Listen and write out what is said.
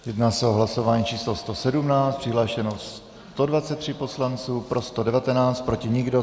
Jedná se o hlasování číslo 117, přihlášeno 123 poslanců, pro 119, proti nikdo.